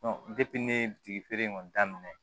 ne ye bitigi feere in kɔni daminɛ